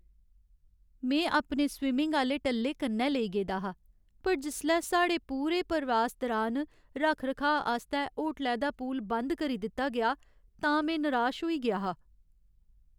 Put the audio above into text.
में अपने स्विमिङ आह्‌ले टल्ले कन्नै लेई गेदा हा पर जिसलै साढ़े पूरे प्रवास दरान रक्ख रखाऽ आस्तै होटलै दा पूल बंद करी दित्ता गेआ तां में निराश होई गेआ हा।